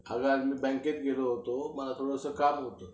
अगं आज मी बँकेत गेलो होतो मला थोडंसं काम होतं.